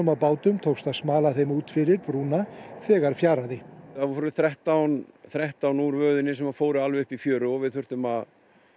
á bátum tókst að smala þeim út fyrir brúna þegar fjaraði það voru þrettán þrettán úr röðinni sem fóru alveg upp í fjöru og við þurftum að